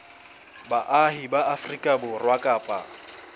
baahi ba afrika borwa kapa